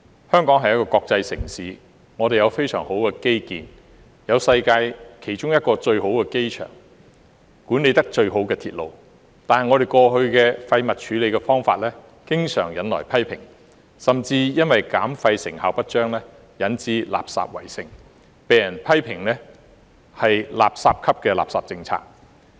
香港是國際城市，我們有非常好的基建，有世界上其中一個最好的機場、管理得最好的鐵路，但我們過往的廢物處理方法經常引來批評，甚至因為減廢成效不彰，引致垃圾圍城，被人批評為"垃圾級的垃圾政策"。